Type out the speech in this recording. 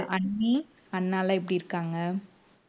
அண்ணி அண்ணாலாம் எப்படி இருக்காங்க